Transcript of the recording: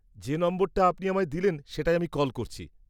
যে নম্বরটা আপনি আমায় দিলেন সেটায় আমি কল করছি।